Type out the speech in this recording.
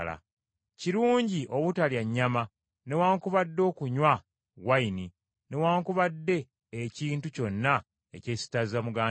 Kirungi obutalya nnyama newaakubadde okunywa wayini newaakubadde ekintu kyonna ekyesittaza muganda wo.